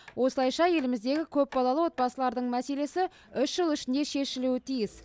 осылайша еліміздегі көпбалалы отбасылардың мәселесі үш жыл ішінде шешілу тиіс